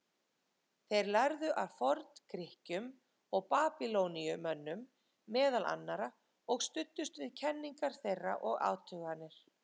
Þeir lærðu af Forngrikkjum og Babýloníumönnum, meðal annarra, og studdust við kenningar þeirra og athuganir.